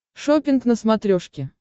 шоппинг на смотрешке